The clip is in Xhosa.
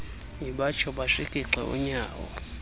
ibatsho bashikixe unyawo